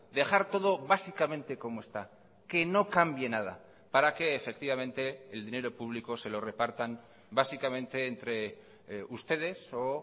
dejar todo básicamente como está que no cambie nada para que efectivamente el dinero público se lo repartan básicamente entre ustedes o